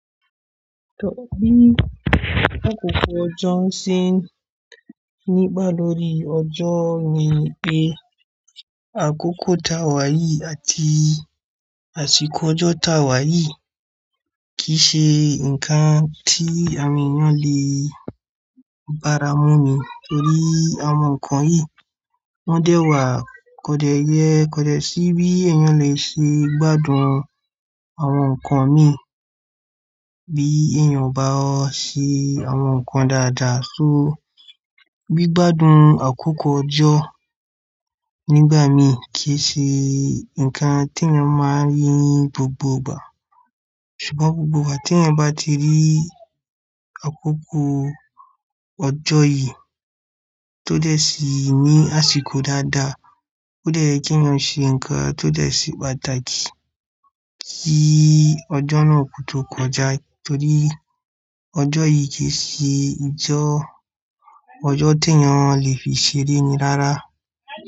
Tó bí àkókò ọjọ́ ṣe nígbà lórí ọjọ́ ni pé àkókò taa wáyì àti àsìkò ọjọ́ ta wáyì kì í ṣe ǹkan tí àwọn èèyàn lè bá ara mú ní torí àwọn nǹkan yìí wọ́n dẹ́wàá kò dẹ yẹ kò dẹ sí bí èèyàn le ṣe gbádùn àwọn nǹkan mí bí èèyàn bá ṣe àwọn nǹkan dáadáa so bí gbádùn àkókò ọjọ́ nígbà mí kì í ṣe ǹkan tí èèyàn máa rí gbogbo ìgbà ṣùgbọ́n gbogbo ìgbà tí èèyàn bá ti rí àkókò ọjọ́ yìí tó dẹ sí ní àsìkò dáadáa, ó dẹ ye kí èèyàn ṣe ǹkan tó dẹ se pàtàkì kí ọjọ́ náà kó tó kọjá torí ọjọ́ yìí kì í ṣe n ti o ọjọ́ tí èèyàn lè fi ṣeré ni rárá.